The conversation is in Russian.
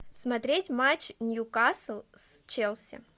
смотреть матч ньюкасл с челси